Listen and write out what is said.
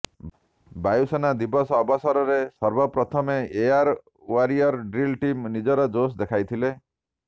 ବାୟୁସେନା ଦିବସ ଅବସରରେ ସର୍ବପ୍ରଥମେ ଏୟାର ୱାରିୟର ଡ୍ରିଲ୍ ଟିମ୍ ନିଜର ଜୋସ୍ ଦେଖାଇଥିଲେ